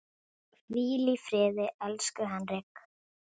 Hvíl í friði, elsku Henrik.